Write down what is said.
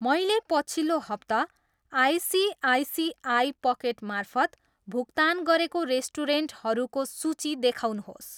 मैले पछिल्लो हप्ता आइसिआइसिआई पकेट मार्फत भुक्तान गरेको रेस्टुरेन्टहरूको सूची देखाउनुहोस्।